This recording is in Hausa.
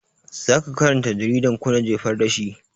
Zaka karanta jaridan ko na jefar da shi?